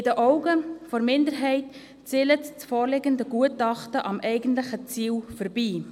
In den Augen der Minderheit zielt das vorliegende Gutachten am eigentlichen Ziel vorbei.